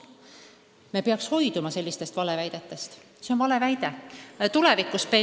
Me peaksime hoiduma sellistest valeväidetest – see on tõesti vale väide ja meie ülesanne on seda selgitada.